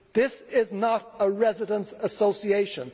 This is not a residents' association.